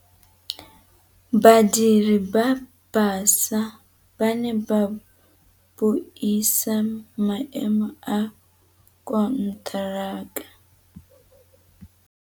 Badiri ba baša ba ne ba buisa maêmô a konteraka.